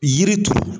Yiri turu